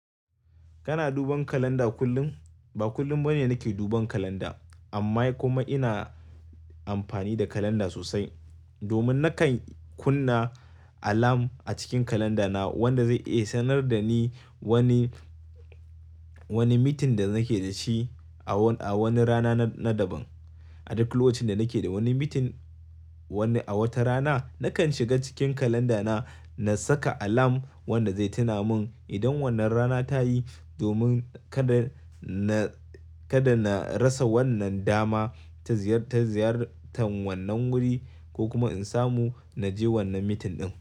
Kana duban kalanda kullum? Ba kullum bane nake duban kalanda amma kuma ina amfani da kalanda sosai. Domin nakan kunna alarm a cikin kalandana wanda zai iya sanar da ni wani, wani meeting da nake da shi a wani rana na daban. A duk lokacin da nake da wani meeting wani a wata rana, nakan shiga cikin kalandana na saka alarm wanda zai tuna mun idan wannan rana ta yi domin kada na, kada na rasa wannan dama ta ziyar, ta ziyartan wannan wuri ko kuma in samu na je wannan meeting ɗin.